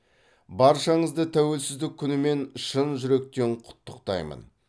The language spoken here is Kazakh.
баршаңызды тәуелсіздік күнімен шын жүректен құттықтаймын